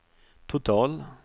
total